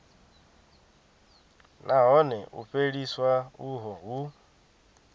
nahone u fheliswa uho hu